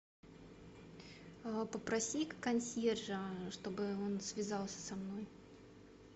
попроси консьержа чтобы он связался со мной